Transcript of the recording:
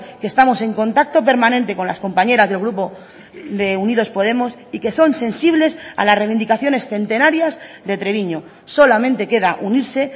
que estamos en contacto permanente con las compañeras del grupo de unidos podemos y que son sensibles a las reivindicaciones centenarias de treviño solamente queda unirse